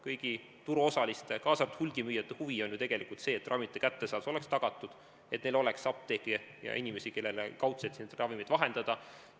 Kõigi turuosaliste, kaasa arvatud hulgimüüjate huvi on ju see, et ravimite kättesaadavus oleks tagatud, et oleks apteeke ja inimesi, kellele neid ravimeid vahendada.